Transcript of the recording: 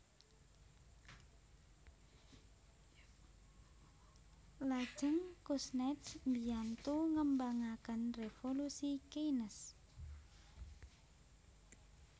Lajeng Kuznets mbiyantu ngembangaken revolusi Keynes